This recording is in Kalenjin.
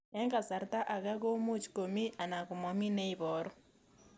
Eng' kasarta ag'e ko much ko mii anan komamii ne ibaru